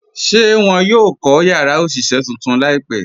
Ṣé wọn yóò kọ̀ yàrá òṣiṣẹ̀ tuntun laípẹ̀?